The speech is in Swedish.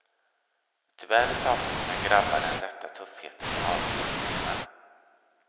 Tyvärr saknar mina grabbar den rätta tuffheten i avslutningarna.